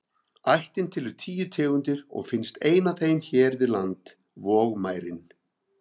Ættin telur tíu tegundir og finnst ein af þeim hér við land, vogmærin.